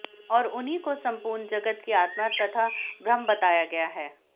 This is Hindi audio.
और उन्ही को संपूर्ण जगत की आत्मा तथा ब्रह्म बताया गया है